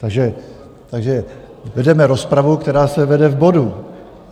Takže vedeme rozpravu, která se vede v bodu.